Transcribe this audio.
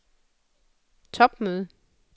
topmøde